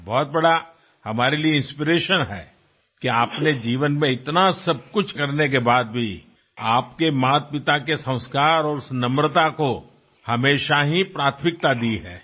બહુ મોટી પ્રેરણા અમારા માટે છે કે આપે જીવનમાં આટલું બધું ક્લીયર કર્યા પછી પણ આપનાં માતાપિતાના સંસ્કાર અને તે નમ્રતાને હંમેશાં પ્રાથમિકતા આપી છે